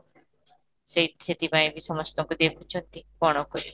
ସେଇ ସେଠି ପାଇଁ ବି ସମସ୍ତଙ୍କୁ ଦେଖୁଛନ୍ତି କ'ଣ କରିବା?